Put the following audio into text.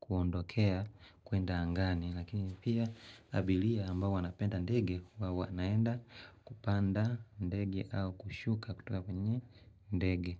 kuondokea kuenda angani. Lakini pia abilia ambayo wanapenda ndege huwa wanaenda kupanda ndege au kushuka kutoka kwenye ndege.